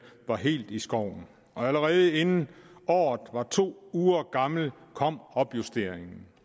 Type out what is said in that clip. var helt i skoven allerede inden året var to uger gammelt kom opjusteringen